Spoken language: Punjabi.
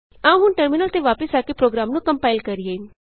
ਆਉ ਹੁਣ ਟਰਮਿਨਲ ਤੇ ਵਾਪਸ ਆ ਕੇ ਪ੍ਰੋਗਰਾਮ ਨੂੰ ਕੰਪਾਇਲ ਕਰੀਏ